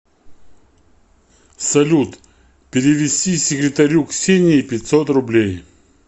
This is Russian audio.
салют перевести секретарю ксении пятьсот рублей